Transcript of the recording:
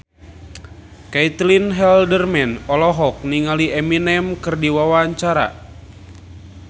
Caitlin Halderman olohok ningali Eminem keur diwawancara